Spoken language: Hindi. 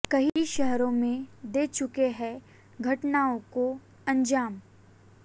कई शहरों में दे चुके हैं घटनाओं को अंजाम